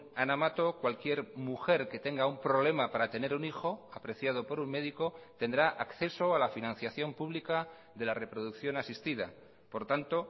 ana mato cualquier mujer que tenga un problema para tener un hijo apreciado por un médico tendrá acceso a la financiación pública de la reproducción asistida por tanto